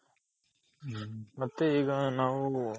ಹ್ಮ್ ಮತ್ತೆ ಈಗ ನಾವು